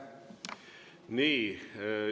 Nii.